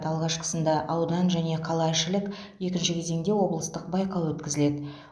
алғашқысында аудан және қалаішілік екінші кезеңде облыстық байқау өткізіледі